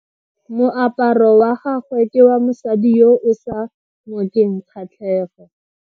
Moaparo wa gagwe ke wa mosadi yo o sa ngokeng kgatlhego.